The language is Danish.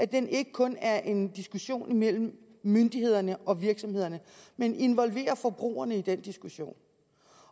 den ikke kun er en diskussion imellem myndighederne og virksomhederne men involverer forbrugerne i den diskussion